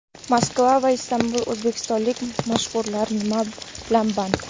Moskva va Istanbuldagi o‘zbekistonlik mashhurlar nima bilan band?